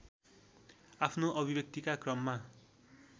आफ्नो अभिव्यक्तिका क्रममा